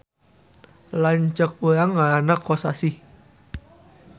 Lanceuk urang ngaranna Kosasih